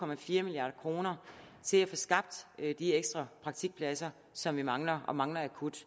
milliard kroner til at få skabt de ekstra praktikpladser som vi mangler og mangler akut